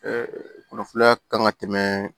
kunnafoniya kan ka tɛmɛ